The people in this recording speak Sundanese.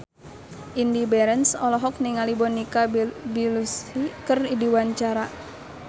Indy Barens olohok ningali Monica Belluci keur diwawancara